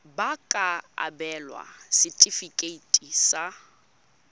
ba ka abelwa setefikeiti sa